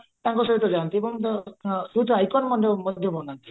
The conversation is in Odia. ଅଧିକା ତାଙ୍କ ସହିତ ଯାଆନ୍ତି ଏବଂ youth ମଧ୍ୟ ବନାନ୍ତି